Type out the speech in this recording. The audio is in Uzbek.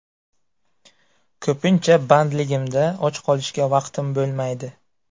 Ko‘pincha bandligimda och qolishga vaqtim bo‘lmaydi”.